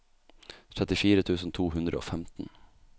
trettifire tusen to hundre og femten